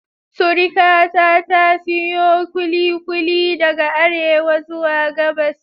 Surikata ta siyo kulikuli daga Arewa zuwa Gabas.